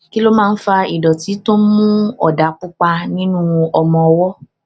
kí ló máa ń fa ìdòtí tó ń mú òdà pupa nínú ọmọ ọwó